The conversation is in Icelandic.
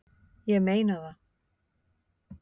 Ég meina það!